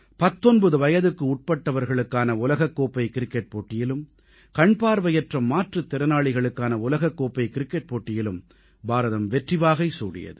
19 வயதுக்குட்பட்டவர்களுக்கான உலகக்கோப்பைக் க்ரிக்கெட் போட்டியிலும் கண்பார்வையற்ற மாற்றுத் திறனாளிகளுக்கான உலகக்கோப்பை க்ரிக்கெட் போட்டியிலும் பாரதம் வெற்றிவாகை சூடியது